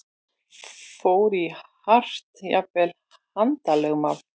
Fór í hart, jafnvel handalögmál?